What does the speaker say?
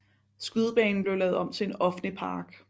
Skydebanen blev lavet om til en offentlig park